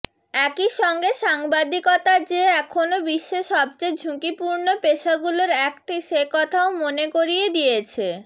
একই সঙ্গে সাংবাদিকতা যে এখনো বিশ্বে সবচেয়ে ঝুঁকিপূর্ণ পেশাগুলোর একটি সে কথাও মনে করিয়ে দিয়েছে